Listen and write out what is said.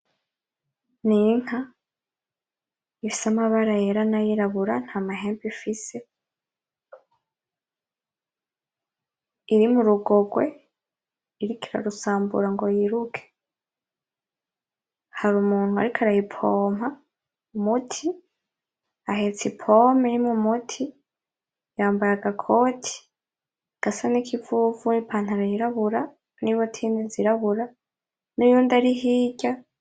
Ninka ifise amabara yera nayirabura ntamahembe ifise iri murugorwe iriko irarusambura ngo yiruke hari umuntu ariko arayipompa umuti ahetse ipompe irimo umuti yambaye agakoti gasa nikivuvu n'ipantaro yirabura nibotine zirabura nuyundi ari hirya.